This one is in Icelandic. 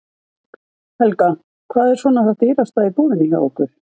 Helga: Hvað er svona það dýrasta í búðinni hjá ykkur?